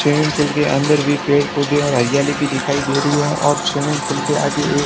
swimming pool के अंदर भी पेड़ पौधे और हरियाली भी दिखाई दे रही है और स्विमिंग पूल के आगे ए--